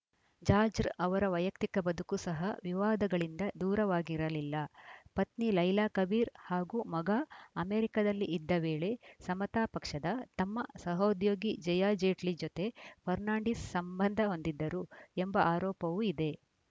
ಜಾಜ್‌ರ್‍ ಅವರ ವೈಯಕ್ತಿಕ ಬದುಕು ಸಹ ವಿವಾದಗಳಿಂದ ದೂರವಾಗಿರಲಿಲ್ಲ ಪತ್ನಿ ಲೈಲಾ ಕಬಿರ್‌ ಹಾಗೂ ಮಗ ಅಮೆರಿಕದಲ್ಲಿ ಇದ್ದ ವೇಳೆ ಸಮತಾ ಪಕ್ಷದ ತಮ್ಮ ಸಹೋದ್ಯೋಗಿ ಜಯಾ ಜೇಟ್ಲಿ ಜೊತೆ ಫರ್ನಾಂಡಿಸ್‌ ಸಂಬಂಧ ಹೊಂದಿದ್ದರು ಎಂಬ ಆರೋಪವೂ ಇದೆ